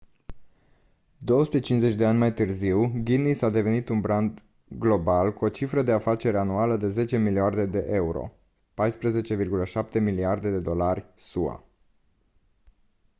250 de ani mai târziu guinness a devenit un brand global cu o cifră de afaceri anuală de 10 miliarde de euro 14,7 miliarde de dolari sua